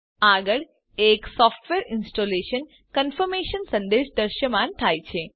આગળ એક software installation confirmation સંદેશ દ્રશ્યમાન થાય છે